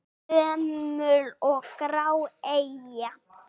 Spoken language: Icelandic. Gömul og grá eyja?